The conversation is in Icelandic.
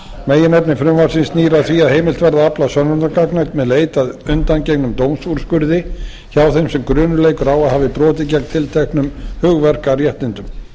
meginefni frumvarpsins snýr að því að heimilt verði að afla sönnunargagna með leit að undangengnum dómsúrskurði hjá þeim sem grunur leikur á að brotið hafi gegn tilteknum hugverkaréttindum